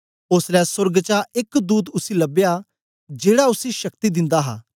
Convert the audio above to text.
ओसलै सोर्ग चा एक दूत उसी लबया जेड़ा उसी शक्ति दिन्दा हा